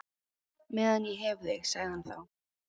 Meðan ég hef þig sagði hann þá.